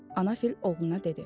ana fil oğluna dedi.